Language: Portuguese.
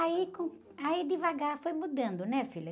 Aí com, aí devagar foi mudando, né, filha?